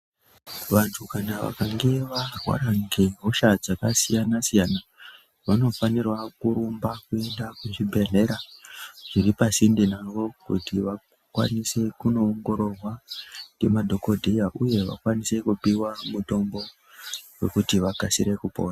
Vantu kana vakange varwara nge hosha dzakasiyana siyana vanofanirwa kurumba kuenda kuzvibhehlera zviri pasinde navo kuti vakwanise kunoongororwa nge madhokodheya uye vakwanise kupiwa mutombo wekuti vakasire kupona.